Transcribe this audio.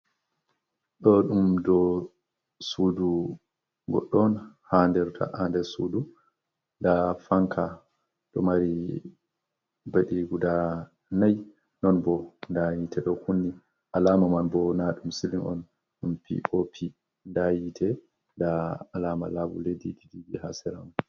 Ɗo ɗum dou sudu goɗɗo on ha nder ta ha nder sudu nda fanka ɗo mari beɗi guda nay, nonbo nda yitte ɗo kunni alama man bo na ɗum sili on ɗum pop nda yitte nda alama labule ji ha sera sudu man.